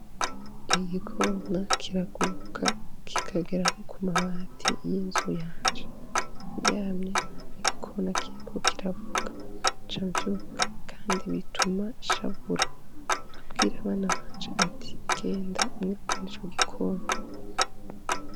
Igikona kiraguruka kikagera no ku mabati y'inzu yanje. Nryamye nkumva igikona kiriko kiravuga, nca mvyuka kandi bituma nshavura nkabwira abana banje ati: genda mwirukane ico gikona.